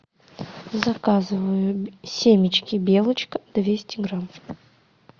заказываю семечки белочка двести грамм